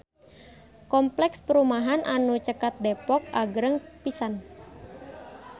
Kompleks perumahan anu caket Depok agreng pisan